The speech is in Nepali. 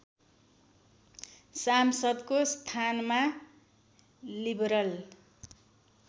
सांसदको स्थानमा लिबरल